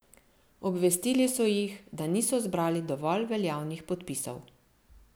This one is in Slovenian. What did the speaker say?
Obvestili so jih, da niso zbrali dovolj veljavnih podpisov.